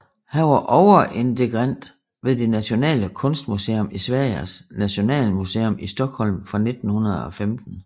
Han var overintendant ved det nationale kunstmuseum Sveriges Nationalmuseum i Stockholm fra 1915